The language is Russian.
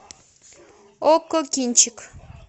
окко кинчик